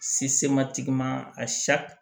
a